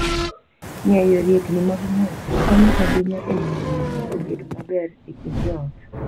Ng'eyo riekni mag ng'wech konyo ahinya e miyo winjruok obed maber e kind joot.